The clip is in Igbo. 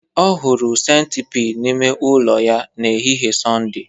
Ọ hụrụ centipede n'ime ụlọ ya n'ehihie Sọnde